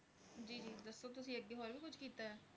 ਜੀ ਜੀ